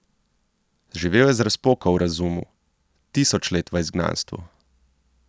Živel je z razpoko v razumu, tisoč let v izgnanstvu.